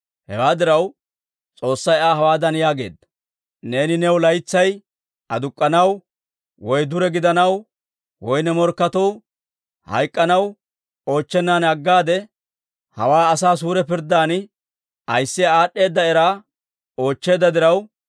Hewaa diraw, S'oossay Aa hawaadan yaageedda; «Neeni new laytsay aduk'k'anaw, woy dure gidanaw, woy ne morkketuu hayk'k'anaw oochchennan aggaade, hawaa asaa suure pirddan ayissiyaa aad'd'eeda era oochcheedda diraw,